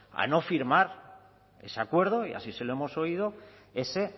a no firmar ese acuerdo y así se lo hemos oído ese